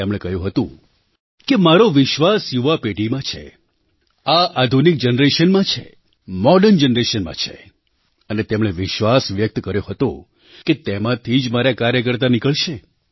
તેમણે કહ્યું હતું કે મારો વિશ્વાસ યુવા પેઢીમાં છે આ આધુનિક Generationમાં છે મૉડર્ન Generationમાં છે અને તેમણે વિશ્વાસ વ્યક્ત કર્યો હતો કે તેમાંથી જ મારા કાર્યકર્તા નીકળશે